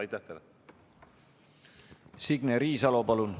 Signe Riisalo, palun!